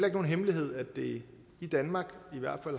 ikke nogen hemmelighed at det i danmark